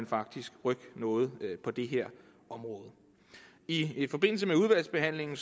faktisk rykke noget på det her område i i forbindelse med udvalgsbehandlingen